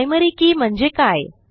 primary के म्हणजे काय